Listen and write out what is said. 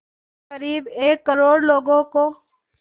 क़रीब एक करोड़ लोगों को